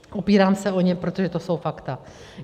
Opírám se o ně, protože to jsou fakta.